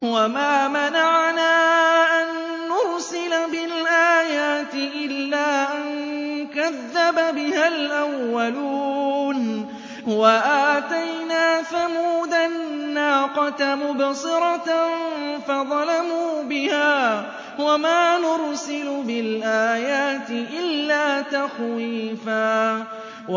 وَمَا مَنَعَنَا أَن نُّرْسِلَ بِالْآيَاتِ إِلَّا أَن كَذَّبَ بِهَا الْأَوَّلُونَ ۚ وَآتَيْنَا ثَمُودَ النَّاقَةَ مُبْصِرَةً فَظَلَمُوا بِهَا ۚ وَمَا نُرْسِلُ بِالْآيَاتِ إِلَّا تَخْوِيفًا